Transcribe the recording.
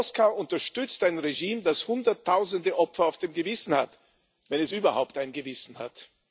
Moskau unterstützt ein Regime, das Hunderttausende Opfer auf dem Gewissen hat, wenn es überhaupt ein Gewissen hat.